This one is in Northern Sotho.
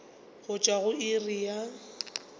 go tšwa go iri ya